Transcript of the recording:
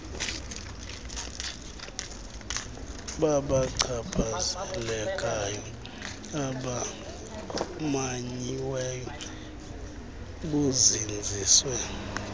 babachaphazelekayo abamanyiweyo buzinzise